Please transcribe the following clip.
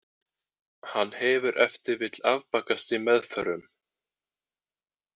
Hann hefur ef til vill afbakast í meðförum.